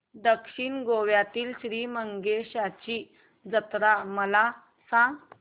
दक्षिण गोव्यातील श्री मंगेशाची जत्रा मला सांग